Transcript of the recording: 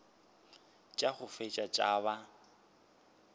tša go feta tša ba